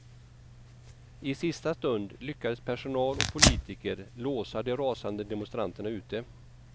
I sista stund lyckades personal och politiker låsa de rasande demonstranterna ute.